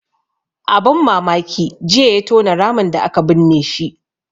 Abun mamaki jiya ya tona ramin da aka binne shi